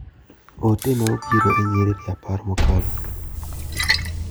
Ote ma obiro e nyiriri apar mokalo.